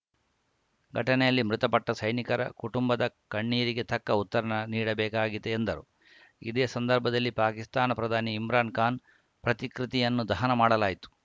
ಘಟನೆಯಲ್ಲಿ ಮೃತಪಟ್ಟಸೈನಿಕರ ಕುಟುಂಬದ ಕಣ್ಣೀರಿಗೆ ತಕ್ಕ ಉತ್ತರ ನೀಡಬೇಕಿದೆ ಎಂದರು ಇದೇ ಸಂದರ್ಭದಲ್ಲಿ ಪಾಕಿಸ್ತಾನ ಪ್ರಧಾನಿ ಇಮ್ರಾನ್‌ ಖಾನ್‌ ಪ್ರತಿಕೃತಿಯನ್ನು ದಹನ ಮಾಡಲಾಯಿತು